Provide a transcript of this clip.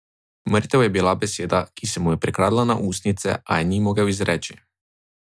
Mrtev je bila beseda, ki se mu je prikradla na ustnice, a je ni mogel izreči.